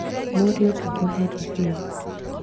Mũriũ ndũkũherithio